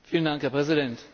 Herr Präsident!